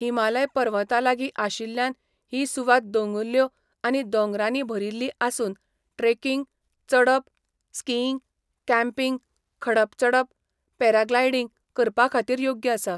हिमालय पर्वतांलागीं आशिल्ल्यान ही सुवात दोंगुल्ल्यो आनी दोंगरांनी भरिल्ली आसून ट्रेकिंग, चडप, स्कीइंग, कॅम्पिंग, खडप चडप, पॅराग्लायडींग करपाखातीर योग्य आसा.